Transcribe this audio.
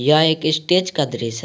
यह एक स्टेज का दृश्य है।